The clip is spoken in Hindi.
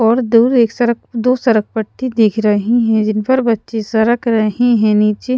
और दूर एक सरक दो सरकपट्टी दिख रही हैं जिन पर बच्चे सरक रहे हैं नीचे --